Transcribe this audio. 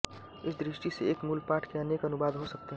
इस दृष्टि से एक मूल पाठ के अनेक अनुवाद हो सकते हैं